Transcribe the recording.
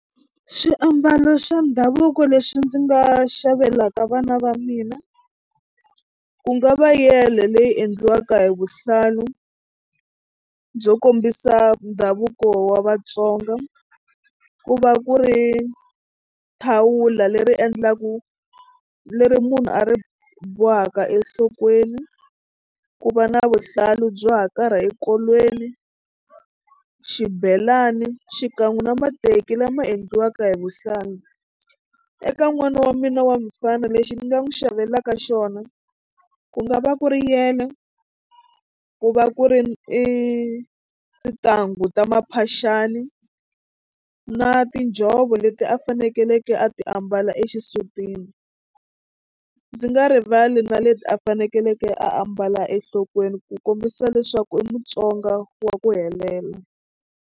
Swiambalo swa ndhavuko leswi ndzi nga xavelaka vana va mina ku nga va yele leyi endliwaka hi vuhlalu byo kombisa ndhavuko wa Vatsonga ku va ku ri thawula leri endlaku leri munhu a ri bohaka enhlokweni ku va na vuhlalu byo hakarha enkolweni xibelani xikan'we na mateki lama endliwaka hi vuhlangi. Eka n'wana wa mina wa mufana lexi ni nga n'wi xavelaka xona ku nga va ku ri yele ku va ku ri i tintangu ta maphaxani na tinjhovo leti a fanekeleke a ti a mbala exisutini ndzi nga rivali na leti a fanekeleke a ambala enhlokweni ku kombisa leswaku i Mutsonga wa ku helela.